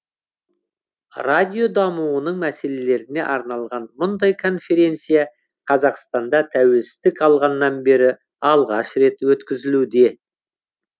радио дамуының мәселелеріне арналған мұндай конференция қазақстанда тәуелсіздік алғаннан бері алғаш рет өткізілуде